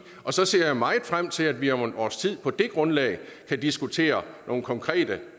og så ser jeg meget frem til at vi om et års tid på det grundlag kan diskutere nogle konkrete